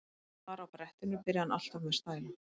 Ef hann var á brettinu byrjaði hann alltaf með svona stæla.